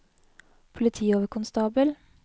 politioverkonstabel